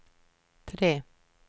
tre